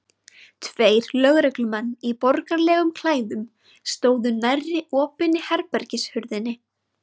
Tveir lögreglumenn í borgaralegum klæðum stóðu nærri opinni herbergishurðinni.